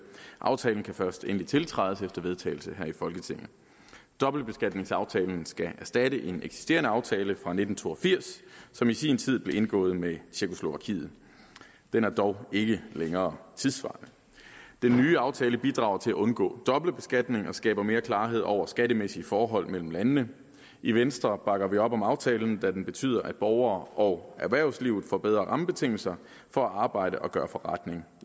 aftalen kan først endelig tiltrædes efter vedtagelse her i folketinget dobbeltbeskatningsaftalen skal erstatte en eksisterende aftale fra nitten to og firs som i sin tid blev indgået med tjekkoslovakiet den er dog ikke længere tidssvarende den nye aftale bidrager til at undgå dobbeltbeskatning og skaber mere klarhed over de skattemæssige forhold mellem landene i venstre bakker vi op om aftalen da den betyder at borgere og erhvervsliv får bedre rammebetingelser for at arbejde og gøre forretning